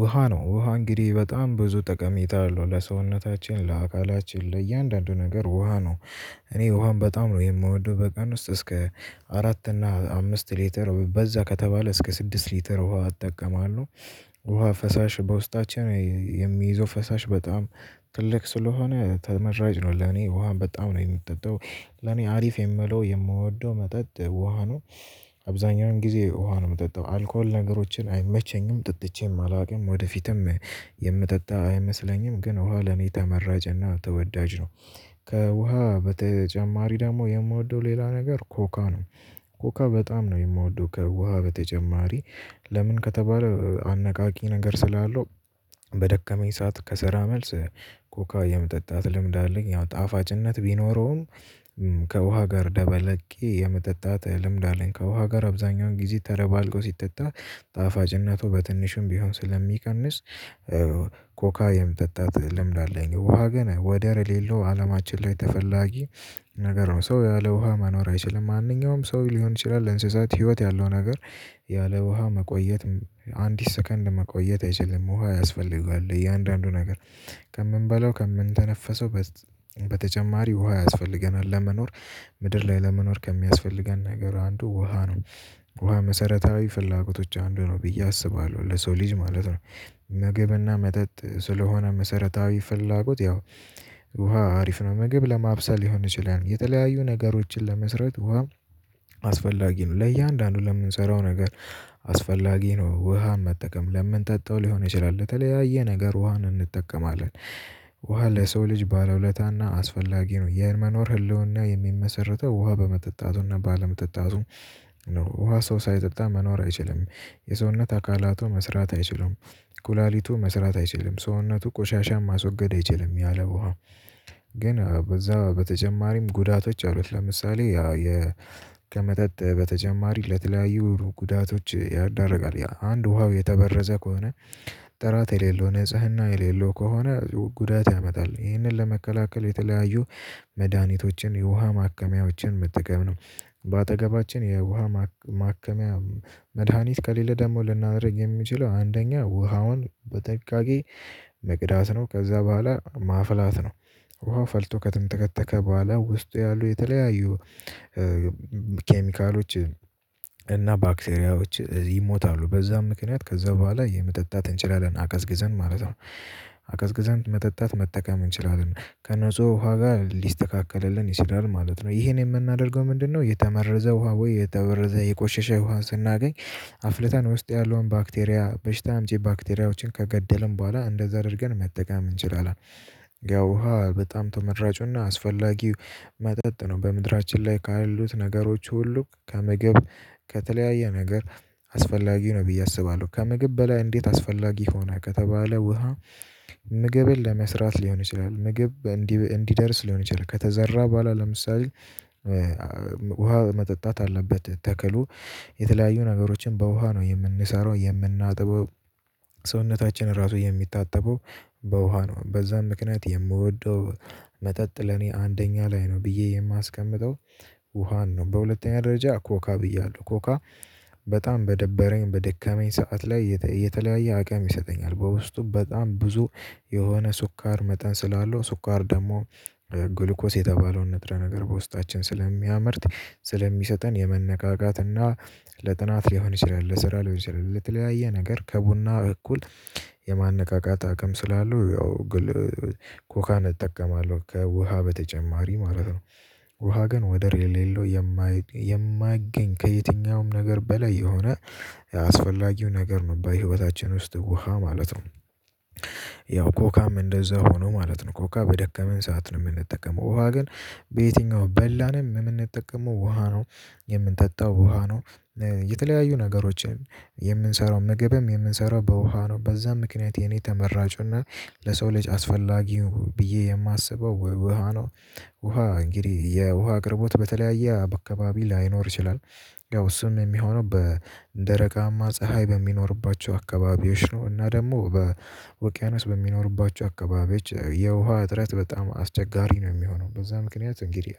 ውሃ ነው። ውሃ እንግዲህ በጣም ብዙ ጥቅም ይታያሉ ለሰውነታችን ለአካላችን ለእያንዳንዱ ነገር ውሃ ነው። እኔ ውሃም በጣም ነው የምወደው በቀን ውስጥ እስከ አራት እና አምስት ሊትር በዛ ከተባለ እስከ ስድስት ሊትር ውሃ እጠቀማለሁ። ውሃ ፈሳሽ በውስጣችን የሚይዘው ፈሳሽ በጣም ትልቅ ስለሆነ ተመራጭ ነው። ለኔ ውሃም በጣም ነው የምጠጣው ለኔ አሪፍ የምለው የምወደው መጠጥ ውሃ ነው። አብዛኛውን ጊዜ ውሃ ነው ምጠጣው አልኮል ነገሮችን አይመቸኝም ጠጥቼም አላውቅም ወደፊትም የምጠጣ አይመስለኝም። ግን ውሃ ለኔ ተመራጭና ተወዳጅ ነው። ከውሃ በተጨማሪ ደግሞ የምወደው ሌላ ነገር ኮካ ነው። ኮካ በጣም ነው የምወደው ከውሃ በተጨማሪ ለምን ከተባለ አነቃቂ ነገር ስላለው። በደከመኝ ሰዓት ከሰራ መልስ ኮካ የመጠጣት ልምድ አለኝ ያው ጣፋጭነት ቢኖረውም። ከውሃ ጋር ደበለቄ የመጠጣት ልምድ አለኝ ከውሃ ጋር አብዛኛውን ጊዜ ተደባልቆ ሲጠጣ ጣፋጭነቱ በትንሹም ቢሆን ስለሚቀንስ። ኮካ የመጠጣት ልምድ አለኝ ውሃ ግን ወደር የሌለው አለማችን ላይ ተፈላጊ ነገር ነው። ሰው ያለ ውሃ መኖር አይችልም ማንኛውም ሰው ሊሆን ይችላል እንስሳት ህይወት ያለው ነገር። ያለ ውሃ መቆየት አንዲት ሰከንድ መቆየት አይችልም። ውሃ ያስፈልገዋል እያንዳንዱ ነገር። ከምንበላው ከምንተነፈሰው በተጨማሪ ውሃ ያስፈልገናል ለመኖር። ምድር ላይ ለመኖር ከሚያስፈልገን ነገር አንዱ ውሃ ነው። ውሃ መሰረታዊ ፍላጎቶች አንዱ ነው ብዬ አስባለሁ ለሰው ልጅ ማለት ነው። ምግብና መጠጥ ስለሆነ መሰረታዊ ፍላጎት ያው ውሃ አሪፍ ነው። ምግብ ለማብሰል ሊሆን ይችላል የተለያዩ ነገሮችን ለመስራት ውሃ። አስፈላጊ ነው ለእያንዳንዱ ለምንሰራው ነገር። አስፈላጊ ነው ውሃ መጠቀም ለምንጠጣው ሊሆን ይችላል ለተለያየ ነገር ውሃን እንጠቀማለን። ውሃ ለሰው ልጅ ባለውለታና አስፈላጊ ነው የመኖር ህልውና የሚመሰርተው ውሃ በመጠጣቱና ባለመጠጣቱ። ነው ውሃ ሰው ሳይጠጣ መኖር አይችልም። የሰውነት አካላቱ መስራት አይችልም ኩላሊቱ መስራት አይችልም ሰውነቱ ቆሻሻ ማስወገድ አይችልም ያለ ውሃ። ግን በዛ በተጨማሪም ጉዳቶች አሉት ለምሳሌ። ከመጠጥ በተጨማሪ ለተለያዩ ጉዳቶች ያደርጋል አንድ ውሃው የተበረዘ ከሆነ። ጥራት የሌለው ንጽህና የሌለው ከሆነ ጉዳት ያመጣል። ይህንን ለመከላከል የተለያዩ መድሃኒቶችን የውሃ ማከሚያዎችን መጠቀም ነው። በአጠገባችን የውሃ ማከሚያ መድሃኒት ከሌለ ደግሞ ልናደርግ የሚችለው አንደኛ ውሃውን በጥንቃቄ መቅዳት ነው ከዛ በኋላ ማፍላት ነው። ውሃው ፈልቶ ከተንተከተከ በኋላ ውስጡ ያሉ የተለያዩ ኬሚካሎችን እና ባክቴሪያዎች ይሞታሉ። በዛ ምክንያት ከዛ በኋላ የመጠጣት እንችላለን አቀዝቅዘን ማለት ነው። አቀዝቅዛን መጠጣት መጠቀም እንችላለን ከነጹ ውሃ ጋር ሊስተካከልልን ይችላል ማለት ነው። ይሄን የምናደርገው ምንድነው? የተመረዘ ውሃ ወይ የተበረዘ የቆሸሸ ውሃን ስናገኝ አፍልተን ውስጥ ያለውን ባክቴሪያ በሽታ አምጪ ባክቴሪያዎችን ከገደልን በኋላ እንደዛ አድርገን መጠቀም እንችላለን። ያው ውሃ በጣም ተመራጩና አስፈላጊው መጠጥ ነው። በምድራችን ላይ ካሉት ነገሮች ሁሉ ከምግብ ከተለያየ ነገር አስፈላጊ ነው ብዬ አስባለሁ። ከምግብ በላይ እንዴት አስፈላጊ ሆነ ከተባለ ውሃ። ምግብን ለመስራት ሊሆን ይችላል ምግብ እንዲደርስ ሊሆን ይችላል ከተዘራ ቡኋላ ለምሳሌ። ውሃ መጠጣት አለበት። ተክሉ የተለያዩ ነገሮችን በውሃ ነው የምንሰራው የምናጥበው። ሰውነታችን ራሱ የሚታጠበው በውሃ ነው። በዛም ምክንያት የምወደው መጠጥ ለኔ አንደኛ ላይ ነው ብዬ የማስቀምጠው። ውሃን ነው። በሁለተኛ ደረጃ ኮካ ብያለሁ። ኮካ በጣም በደበረኝ በደከመኝ ሰዓት ላይ የተለያየ አቅም ይሰጠኛል በውስጡ በጣም ብዙ የሆነ ስኳር መጠን ስላለው ስኳር ደሞ። ግሉኮስ የተባለውን ንጥረ ነገር በውስጣችን ስለሚያመርት ስለሚሰጠን የመነቃቃት እና ለጥናት ሊሆን ይችላል ለስራ ሊሆን ይችላል ለተለያየ ነገር ከቡና እኩል የማነቃቃት አቅም ስላለው ያው። ኮካን እጠቀማለሁ ከውሃ በተጨማሪ ማለት ነው። ውሃ ግን ወደር የሌለው የማይገኝ ከየትኛውም ነገር በላይ የሆነ አስፈላጊው ነገር ነው። በህይወታችን ውስጥ ውሃ ማለት ነው። ያው ኮካም እንደዛ ሆኖ ማለት ነው ኮካ በደከመን ሰዓት ነው የምንጠቀመው። ውሃ ግን በየትኛው በላንም ምንጠቀመው ውሃ ነው። የምንጠጣው ውሃ ነው። የተለያዩ ነገሮችን የምንሰራው ምግብም የምንሰራው በውሃ ነው። በዛ ምክንያት የኔ ተመራጩና ለሰው ልጅ አስፈላጊ ብዬ የማስበው ውሃ ነው። ውሃ እንግዲህ የውሃ አቅርቦት በተለያየ አካባቢ ላይኖር ይችላል። ያው እሱም የሚሆነው በደረቃማ ፀሀይ በሚኖርባቸው አካባቢዎች ነው። እና ደግሞ በውቅያኖስ በሚኖሩባቸው አካባቢዎች የውሃ እጥረት በጣም አስቸጋሪ ነው የሚሆነው። በዛ ምክንያት እንግዲህ